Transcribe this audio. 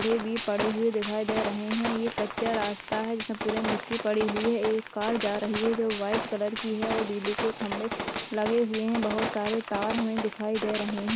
--Day बी पडे हुए दिखायी दे रहे है ये कच्चा रास्ता है जिसमें पूरे मिट्टी पडी हुई है एक कार जा रही है जो वाइट कलर की है और बिजली के खम्भे लगे हुऐं है बोहत सारे तार हमें दिखाई दे रहे है।